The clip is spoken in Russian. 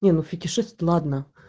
не ну фетишист ладно